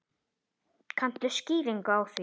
Kanntu skýringu á því?